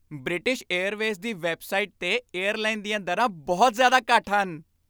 British Airways ਦੀ website 'ਤੇ airline ਦੀਆਂ ਦਰਾਂ ਬਹੁਤ ਜ਼ਿਆਦਾ ਘੱਟ ਹਨ।